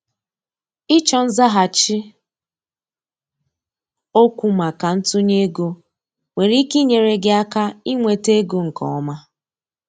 ịchọ nzaghachi okwu maka ntunye ego nwere ike inyere gị aka inweta ego nke ọma.